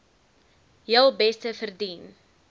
heel beste verdien